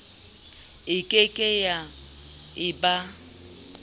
e keke ya e ba